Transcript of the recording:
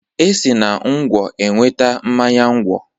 E si na ngwọ enweta mmanya ngwọ.